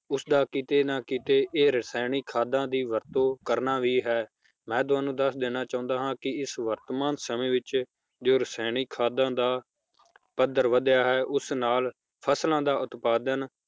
ਉਸ ਦਾ ਕੀਤੇ ਨਾ ਕੀਤੇ ਇਹ ਰਸਾਇਣਿਕ ਖਾਦਾਂ ਦੀ ਵਰਤੋਂ ਕਰਨਾ ਵੀ ਹੈ ਮੈ ਤੁਹਾਨੂੰ ਦੱਸ ਦਿੰਨਾ ਚਾਹੁੰਦਾ ਹਾਂ ਕੀ ਇਸ ਵਰਤਮਾਨ ਸਮੇ ਵਿਚ ਜੋ ਰਸਾਇਣਿਕ ਖਾਦਾਂ ਦਾ ਪੱਧਰ ਵਧਿਆ ਹੈ ਉਸ ਨਾਲ ਫਸਲਾਂ ਦਾ ਉਤਪਾਦਨ